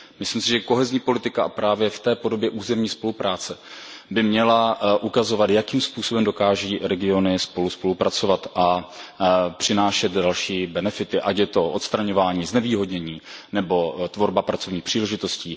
Myslím si, že kohezní politika právě v té podobě územní spolupráce by měla ukazovat, jakým způsobem dokáží regiony spolu spolupracovat a přinášet další benefity, ať je to odstraňování znevýhodnění nebo tvorba pracovních příležitostí.